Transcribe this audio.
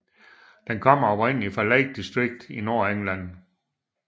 Den kommer oprindeligt fra Lake District i Nordengland